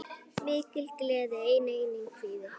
Mikil gleði en einnig kvíði.